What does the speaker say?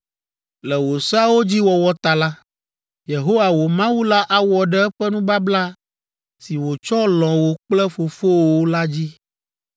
Le wò seawo dzi wɔwɔ ta la, Yehowa, wò Mawu la awɔ ɖe eƒe nubabla si wòtsɔ lɔ̃ wò kple fofowòwo la dzi.